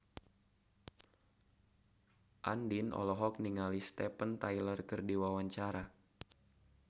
Andien olohok ningali Steven Tyler keur diwawancara